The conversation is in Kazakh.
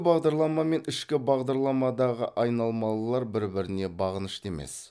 бағдарлама мен ішкі бағдарламадағы айналмалылар бір біріне бағынышты емес